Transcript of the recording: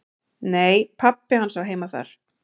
"""Nei, pabbi hans á heima þar."""